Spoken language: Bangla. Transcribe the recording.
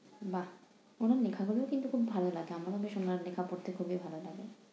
বাহ! ওদের লেখাগুলো কিন্তু খুব ভালো লাগে আমার professional লেখা পড়তে খুবই ভালো লাগে।